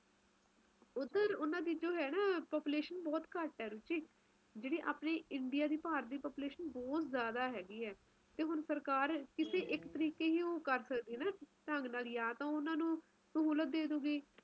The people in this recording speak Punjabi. ਸਮੁੰਦਰੀ ਇਲਾਕਿਆਂ ਚ ਹੁੰਦਾ ਨਾ ਜਿਵੇ ਨਾ ਗਰਮੀ ਹੁੰਦੈ ਐ ਨਾ ਸਰਦੀ ਹੁੰਦੀ ਐ ਵਧੀਆ ਮੌਸਮ ਹੁੰਦਾ ਮਤਲਬ ਤੁਸੀ ਕੁਜ ਵੀ ਪਹਿਨ ਸਕਦੇਓ ਕੁਜ ਵੀ ਖਾ ਸਕਦੇ ਊ ਓਥੇ ਓਹਜਿਆ ਕੁਜ ਨਹੀਂ ਐ ਨਾ ਠੰਡ ਜ਼ਿਆਦਾ ਨਾ ਗਰਮੀ ਜ਼ਿਆਦਾ ਵਧੀਆ ਮਾਹੌਲ